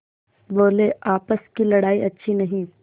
बोलेआपस की लड़ाई अच्छी नहीं